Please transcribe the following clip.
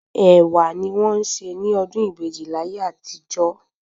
Ẹ̀wà ni wọ́n ń se ní ọdún ìbejì láyé àtijó